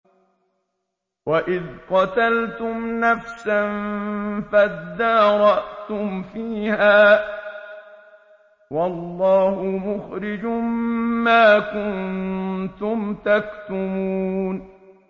وَإِذْ قَتَلْتُمْ نَفْسًا فَادَّارَأْتُمْ فِيهَا ۖ وَاللَّهُ مُخْرِجٌ مَّا كُنتُمْ تَكْتُمُونَ